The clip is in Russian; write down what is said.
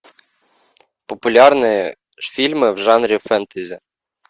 популярные фильмы в жанре фэнтези